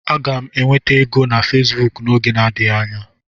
Aga m enweta ego na Facebook n'oge adịghị anya.